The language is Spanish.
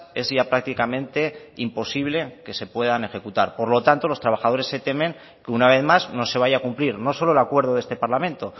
es ya prácticamente imposible que se puedan ejecutar por lo tanto los trabajadores temen que una vez más no se vaya a cumplir no solo el acuerdo de este parlamento